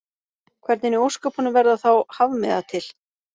Hvernig í ósköpunum verða þá hafmeyjar til?